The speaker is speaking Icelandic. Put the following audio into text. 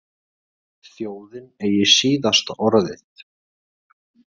Þjóðin eigi síðasta orðið